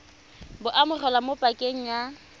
bo amogelwa mo pakeng ya